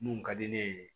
Mun ka di ne ye